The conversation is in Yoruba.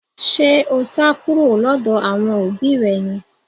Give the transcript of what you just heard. Ṣé o sá kúrò lọ́dọ̀ àwọn òbí rẹ ni